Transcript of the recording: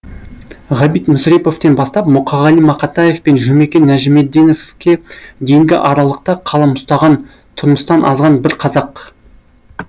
ғабит мүсреповтен бастап мұқағали мақатаев пен жұмекен нәжімеденовке дейінгі аралықта қалам ұстаған тұрмыстан азған бар қазақ